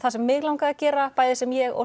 sem mig langaði að gera bæði sem ég og